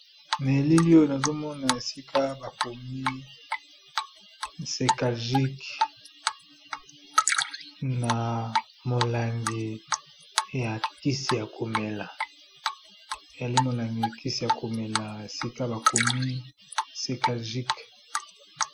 Na eleli oyo nazomona esika bakomi cekajiq ali molangi ya kisi ya komela esika bakomi cekajiq.